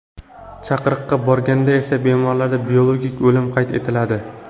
Chaqiriqqa borganda esa bemorda biologik o‘lim qayd etiladi.